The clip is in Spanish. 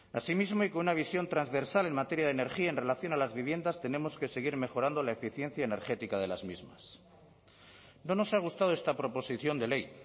así mismo y con una visión transversal en materia de energía en relación a las viviendas tenemos que seguir mejorando la eficiencia energética de las mismas no nos ha gustado esta proposición de ley